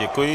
Děkuji.